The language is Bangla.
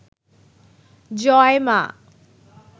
জয় মা